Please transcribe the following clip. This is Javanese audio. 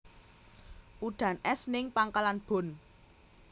Udan es ning Pangkalan Bun